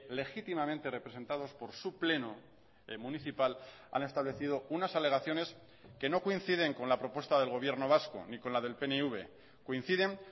legítimamente representados por su pleno municipal han establecido unas alegaciones que no coinciden con la propuesta del gobierno vasco ni con la del pnv coinciden